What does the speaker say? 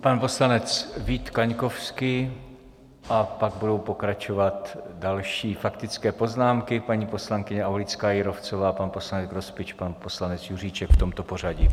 Pan poslanec Vít Kaňkovský a pak budou pokračovat další faktické poznámky - paní poslankyně Aulická Jírovcová, pan poslanec Grospič, pan poslanec Juříček, v tomto pořadí.